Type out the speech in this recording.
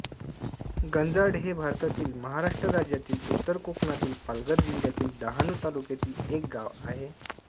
गंजाड हे भारतातील महाराष्ट्र राज्यातील उत्तर कोकणातील पालघर जिल्ह्यातील डहाणू तालुक्यातील एक गाव आहे